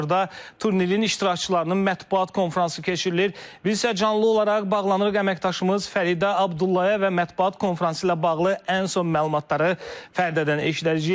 Biz isə canlı olaraq bağlanırıq əməkdaşımız Fəridə Abdullaya və mətbuat konfransı ilə bağlı ən son məlumatları Fəridədən eşidəcəyik.